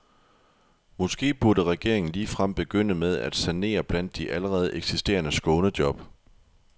Måske burde regeringen ligefrem begynde med at sanere blandt de allerede eksisterende skånejob.